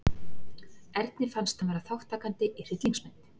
Erni fannst hann vera þátttakandi í hryllingsmynd.